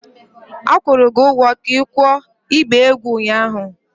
A kwụrụ gị ụgwọ ka ikuo ịgba egwu ụnyahụ!